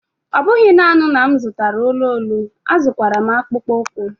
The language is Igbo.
Ọ bụghị nanị na m zụtara olu olu, azụrụkwara m akpụkpọ ụkwụ.